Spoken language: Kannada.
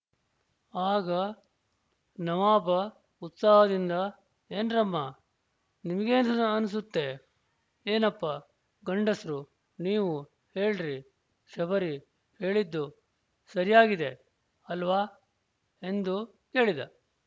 ಆಗ ನವಾಬ ಉತ್ಸಾಹದಿಂದ ಏನ್ರಮ್ಮ ನಿಮ್ಗೇನನ್ಸುತ್ತೆ ಏನಪ್ಪ ಗಂಡುಸ್ರು ನೀವೂ ಹೇಳ್ರಿ ಶಬರಿ ಹೆಳಿದ್ದು ಸರ್ಯಾಗಿದೆ ಅಲ್ವಾ ಎಂದು ಕೇಳಿದ